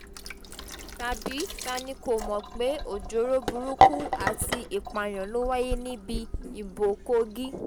tàbí ta ni kò mọ̀ pé ọjọ́ọ́rọ́ burúkú àti ìpààyàn ló wáyé níbi ìbò kogi